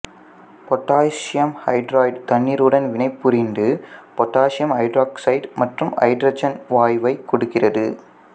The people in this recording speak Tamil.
பொட்டாசியம் ஐதரைடு தண்ணீருடன் வினைபுரிந்து பொட்டாசியம் ஐதராக்சைடு மற்றும் ஐதரசன் வாயுவைக் கொடுக்கிறது